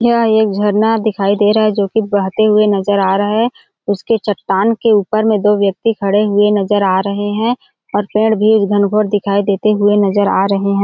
यह एक झरना दिखाई दे रहा है जो की बहते हुए नजर आ रहा है उसके चट्टान के उपर मे दो व्यक्ति खड़े हुए नजर आ रहे है और पेड़ भी धनघोर दिखाई देते हुए नजर आ रहे हैं।